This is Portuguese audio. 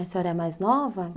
E a senhora é mais nova?